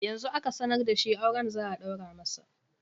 Yanzu aka sanar da shi auren za a ɗaura masa